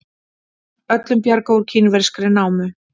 Öllum bjargað úr kínverskri námu